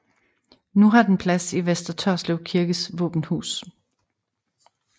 Nu har den plads i Vester Tørslev kirkes våbenhus